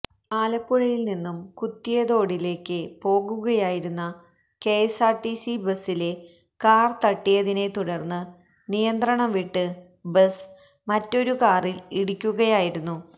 ആലപ്പുഴയില് നിന്നും കുത്തിയതോടിലേക്ക് പോകുകയായിരുന്ന കെഎസ്ആര്ടിസി ബസില് കാര് തട്ടിയതിനെ തുടര്ന്ന് നിയന്ത്രണം വിട്ട് ബസ് മറ്റൊരുകാറില് ഇടിക്കുകയായിരുന്നു